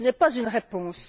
Ce n'est pas une réponse.